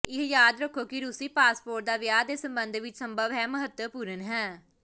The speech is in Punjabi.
ਇਹ ਯਾਦ ਰੱਖੋ ਕਿ ਰੂਸੀ ਪਾਸਪੋਰਟ ਦਾ ਵਿਆਹ ਦੇ ਸਬੰਧ ਵਿਚ ਸੰਭਵ ਹੈ ਮਹੱਤਵਪੂਰਨ ਹੈ